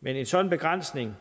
men en sådan begrænset